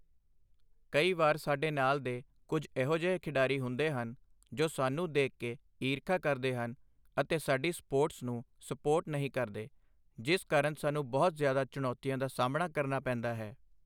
ਕਈ ਵਾਰ ਸਾਡੇ ਨਾਲ ਦੇ ਕੁੱਝ ਇਹੋ ਜਿਹੇ ਖਿਡਾਰੀ ਹੁੰਦੇ ਹਨ, ਜੋ ਸਾਨੂੰ ਦੇਖ ਕੇ ਈਰਖ਼ਾ ਕਰਦੇ ਹਨ ਅਤੇ ਸਾਡੀ ਸਪੋਰਟਸ ਨੂੰ ਸਪੋਟ ਨਹੀਂ ਕਰਦੇ, ਜਿਸ ਕਾਰਨ ਸਾਨੂੰ ਬਹੁਤ ਜ਼ਿਆਦਾ ਚੁਣੌਤੀਆਂ ਦਾ ਸਾਹਮਣਾ ਕਰਨਾ ਪੈਂਦਾ ਹੈ।